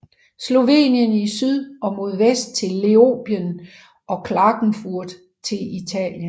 Slovenien i syd og mod vest til Leoben og Klagenfurt til Italien